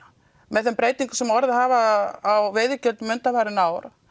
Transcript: með þeim breytingum sem orðið hafa á veiðigjöldum undanfarin ár